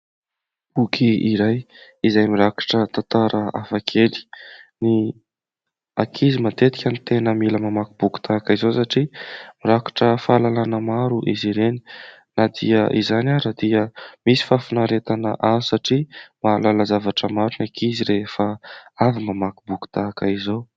Boky iray izay mirakitra tantara hafakely, ny ankizy matetika no tena mila mamaky boky tahaka izao satria mirakitra fahalalàna maro izy ireny. Na dia izany ara dia misy fahafinaretana azo satria mahalala zavatra maro ny ankizy rehefa avy mamaky boky tahaka izao.